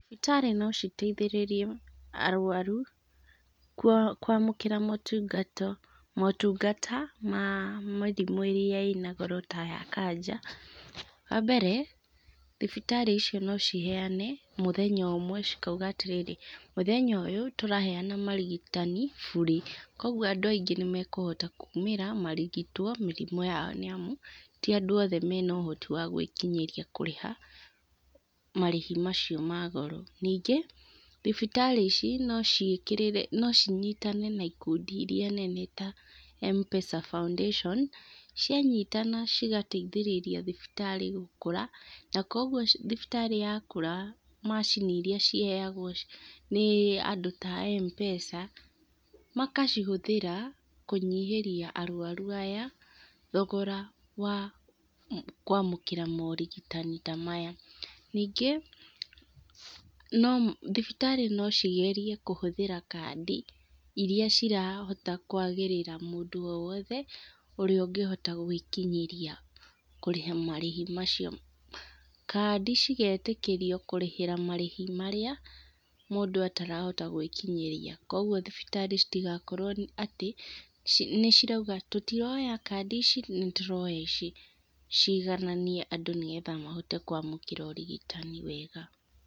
Thibitarĩ no citeithĩrĩrie arwaru, kwa kwamũkĩra motungata motungata, ma mĩrimũ ĩrĩa ĩna goro ta ya kanja, wa mbere, thibitarĩ icio no ciheane mũthenya ũmwe cikauga atĩrĩrĩ, mũthenya ũyũ, tũraheana marigitani, bure, koguo andũ aingĩ nĩmekũhota kumĩra marigitwo mĩrimũ yao nĩamu, ti andũ othe mena ũhoti wa gwĩkinyĩria kũrĩha marĩhi macio ma goro. Ningĩ thibitarĩ ici nociĩkĩrĩre, no cinyitane na ikundi iria nene ta Mpesa Foundation, cianyitana cigateithĩrĩria thibitarĩ gũkũra, na koguo thibitarĩ yakũra, macini iria ciheagwo nĩ andũ ta a M-pesa, makacihũthĩra, kũnyihĩria arwaru aya, thogora wa kwamũkĩra morigitani ta maya. Ningĩ, no thibitarĩ no cigerie kũhũthĩra kandi iria cirahota kwagĩrĩra mũndũ o wothe, ũrĩa ũngĩhota gwĩkinyĩria kũrĩha marĩhi macio. Kandi cigetĩkĩrio kũrĩhĩra marĩhi marĩa, mũndũ atarahota gwĩkinyĩria, koguo thibitari citigakorwo atĩ, nĩcirauga tũtiroya kandi ici, nĩtũroya ici. Cigananie andũ nĩgetha mahote kwamũkĩra ũrigitani wega.